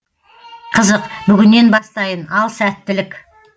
қызық бүгіннен бастайын ал сәттілік